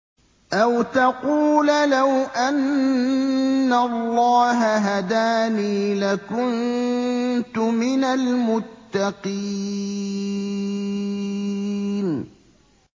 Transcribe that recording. أَوْ تَقُولَ لَوْ أَنَّ اللَّهَ هَدَانِي لَكُنتُ مِنَ الْمُتَّقِينَ